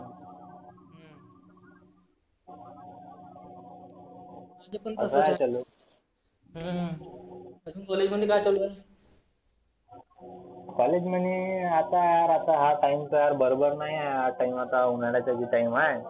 माझ पण तसं आहे. हम्म आजुन college म्हणी आता हा time बरोबर नाही आहे हा time आता उन्हाळ्याचा बी Time आहे.